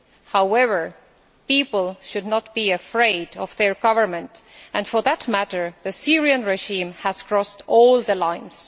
However, people should not be afraid of their government and for that matter the Syrian regime has crossed all the lines.